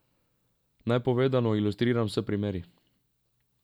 Naj povedano ilustriram s primeri.